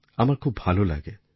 আমার খুব ভালো লাগে